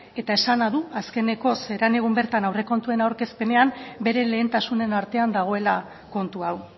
eta esana du azkeneko egun bertan aurrekontuen aurkezpenean bere lehentasunen artean dagoela kontu hau